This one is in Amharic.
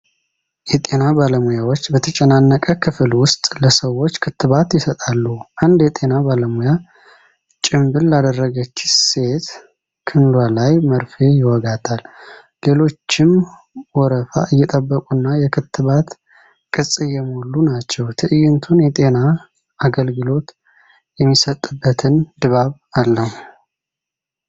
የጤና ባለሙያዎች በተጨናነቀ ክፍል ውስጥ ለሰዎች ክትባት ይሰጣሉ። አንድ የጤና ባለሙያ ጭምብል ላደረገች ሴት ክንዱ ላይ መርፌ ይወጋታል፤ ሌሎችም ወረፋ እየጠበቁና የክትባት ቅጽ እየሞሉ ናቸው። ትዕይንቱ የጤና አገልግሎት የሚሰጥበትን ድባብ አለው።